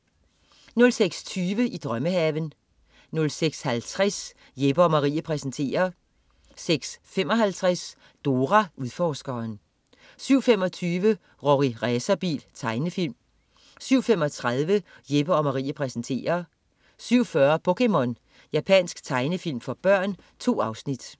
06.20 I drømmehaven 06.50 Jeppe & Marie præsenterer 06.55 Dora Udforskeren 07.25 Rorri Racerbil. Tegnefilm 07.35 Jeppe & Marie præsenterer 07.40 POKéMON. Japansk tegnefilm for børn. 2 afsnit